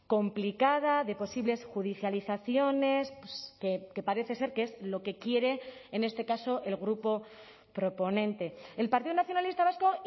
complicada de posibles judicializaciones que parece ser que es lo que quiere en este caso el grupo proponente el partido nacionalista vasco